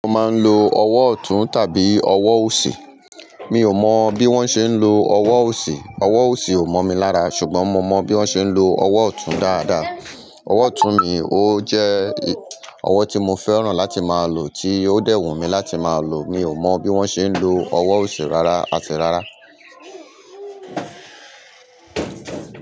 Mọ́ máa ń lo ọwọ́ ọ̀tún tàbí ọwọ́ òsì. Mi ò mọ̀ bí wọ́n ṣe ń lo ọwọ́ òsì. Ọwọ́ òsì ò mọ mí lára, ṣùgbọ́n mo mọ bí wọ́n ṣe ń lo ọwọ́ ọ̀tún dáadáa. Ọwọ́ ọ̀tún mi ó jẹ́ ọwọ́ tí mo fẹ́ràn láti máa lò tí ó dẹ̀ wùmí láti máa lò. Mi ò mọ̀ bí wọ́n ṣe ń lo ọwọ́ òsì rárá, àti rárá.